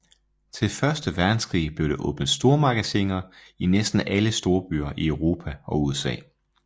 Til Første Verdenskrig blev der åbnet stormagasiner i næsten alle storbyer i Europa og USA